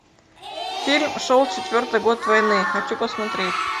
фильм шел четвертый год войны хочу посмотреть